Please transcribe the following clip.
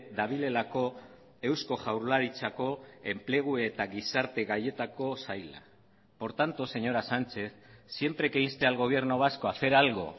dabilelako eusko jaurlaritzako enplegu eta gizarte gaietako saila por tanto señora sánchez siempre que inste al gobierno vasco a hacer algo